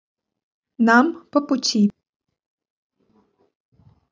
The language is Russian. нам по пути